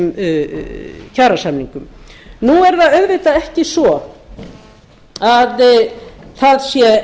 þessum kjarasamningum nú er það auðvitað ekki svo að það sé